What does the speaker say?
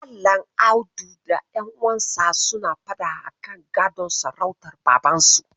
Malam Audu da ƴanuwansa suna faɗa akan gadon sarautar Babansu.